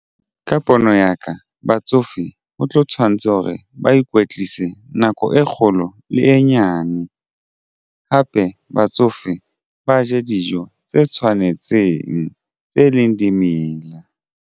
Ka pono ya ka batsofe ho tlo tshwanetse hore ba ikwetlise nako e kgolo le e nyane hape batsofe ba je dijo tse tshwanetseng tse e leng dimela.